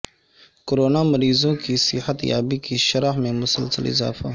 corona مریضوں کی صحت یابی کی شرح میں مسلسل اضافہ